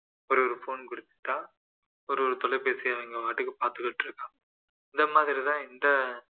ஒரே ஒரு phone குடுத்துட்டா ஒரு தொலைபேசியை அவங்கபாட்டுக்கு பார்த்துகிட்டு இருக்காங்க இந்த மாதிரிதான் இந்த